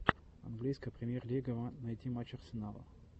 английская премьер лига найти матч арсенала